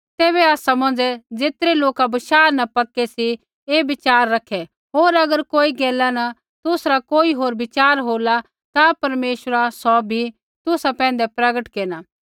तैबै आसा मौंझ़ै ज़ेतरै लोका बशाह न पक्के सी ऐ विचार रखे होर अगर कोई गैला न तुसरा कोई होर विचार होला ता परमेश्वरा सौ भी तुसा पैंधै प्रगट केरना